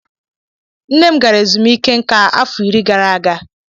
Nne m gara ezumike nká afọ iri gara aga.